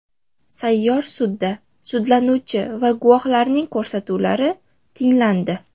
Sayyor sudda sudlanuvchi va guvohlarning ko‘rsatuvlari tinglandi.